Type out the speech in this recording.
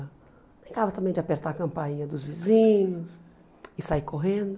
Brincava também de apertar a campainha dos vizinhos e sair correndo.